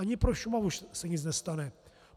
Ani pro Šumavu se nic nestane.